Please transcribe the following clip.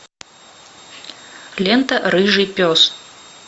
лента рыжий пес